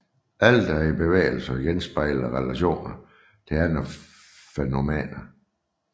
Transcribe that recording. Alt er i bevægelse og genspejler relationer til andre fænomener